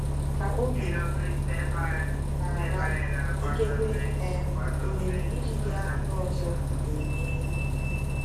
Ka oge na-aga, ikekwe um ohere iji gaa mba ọzọ ga-emeghe.